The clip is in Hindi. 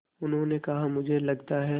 उन्होंने कहा मुझे लगता है